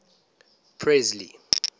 presley